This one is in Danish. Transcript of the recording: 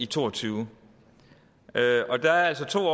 to og tyve og der er altså to